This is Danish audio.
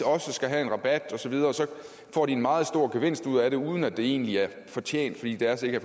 også skal have rabat osv får de en meget stor gevinst ud af det uden at det egentlig er fortjent fordi deres ikke